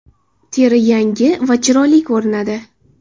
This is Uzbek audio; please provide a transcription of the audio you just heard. Teri yangi va chiroyli ko‘rinadi.